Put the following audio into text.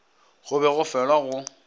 go be go felwa go